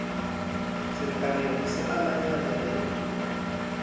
tselekaneng ho se amahanya le